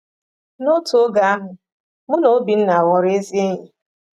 N’otu oge ahụ, mụ na Obinna ghọrọ ezi enyi.